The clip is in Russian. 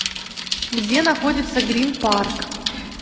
где находится гринпарк